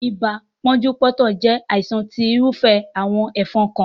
Ibà pónjú póntò jé àìsàn tí irúfẹ́ àwon ẹ́fon kan